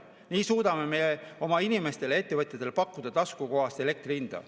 Nii suudame oma inimestele ja ettevõtjatele pakkuda taskukohast elektri hinda.